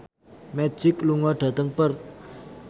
Magic lunga dhateng Perth